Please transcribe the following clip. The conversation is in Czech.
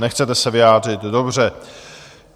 Nechcete se vyjádřit, dobře.